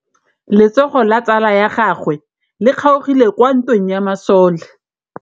Letsôgô la tsala ya gagwe le kgaogile kwa ntweng ya masole.